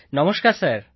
নমস্কার স্যার